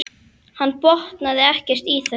Hann botnaði ekkert í þessu.